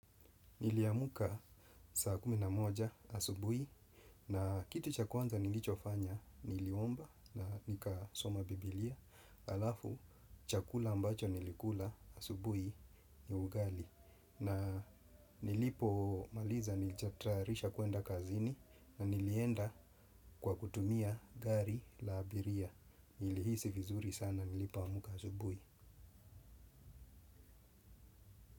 Niliamka saa kumi na moja asubuhi na kitu cha kwanza nilicho fanya niliomba na nika soma bibilia halafu chakula ambacho nilikula asubuhi ni ugali na nilipo maliza nilijitarisha kuenda kazini na nilienda kwa kutumia gari la abiria nilihisi vizuri sana nilipoamka asubuhi.